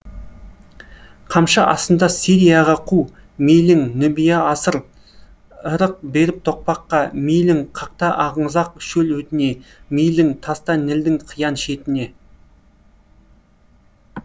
қамшы астында сирияға қу мейлің нубия асыр ырық беріп тоқпаққа мейлің қақта аңызақ шөл өтіне мейлің таста нілдің қиян шетіне